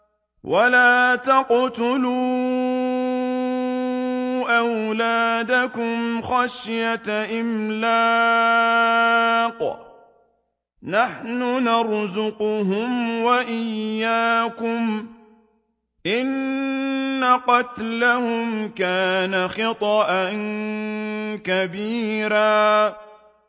وَلَا تَقْتُلُوا أَوْلَادَكُمْ خَشْيَةَ إِمْلَاقٍ ۖ نَّحْنُ نَرْزُقُهُمْ وَإِيَّاكُمْ ۚ إِنَّ قَتْلَهُمْ كَانَ خِطْئًا كَبِيرًا